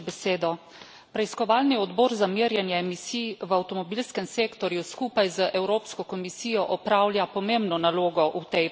Preiskovalni odbor za merjenje emisij v avtomobilskem sektorju skupaj z Evropsko komisijo opravlja pomembno nalogo v tej preiskavi.